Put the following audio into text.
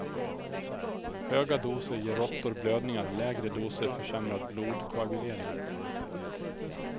Höga doser ger råttor blödningar, lägre doser försämrad blodkoagulering.